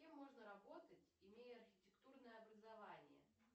кем можно работать имея архитектурное образование